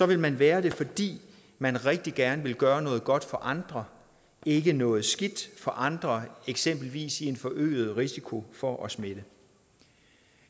vil man være det fordi man rigtig gerne vil gøre noget godt for andre og ikke noget skidt for andre eksempelvis i en forøget risiko for at smitte